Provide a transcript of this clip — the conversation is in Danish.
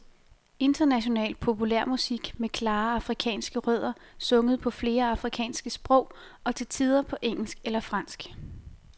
International populærmusik med klare afrikanske rødder, sunget på flere afrikanske sprog og til tider på engelsk eller fransk.